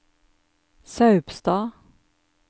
Saupstad